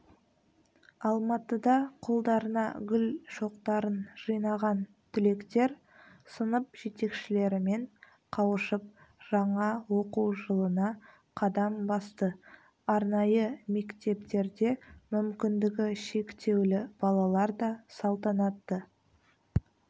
алматыда қолдарына гүл шоқтарын жинаған түлектер сынып жетекшілерімен қауышып жаңа оқу жылына қадам басты арнайы мектептерде мүмкіндігі шектеулі балалар да салтанатты